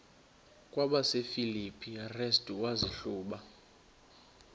kwabasefilipi restu wazihluba